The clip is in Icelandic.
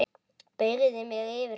Beygði mig yfir hana.